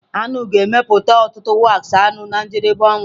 Aṅụ ga-emepụta ọtụtụ wax anụ na njedebe ọnwa.